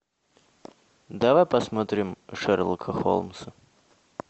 давай посмотрим шерлока холмса